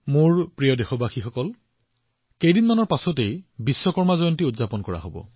মোৰ মৰমৰ দেশবাসীসকল অহা কেইদিনমানৰ ভিতৰত বিশ্বকৰ্মা জয়ন্তীও আহি আছে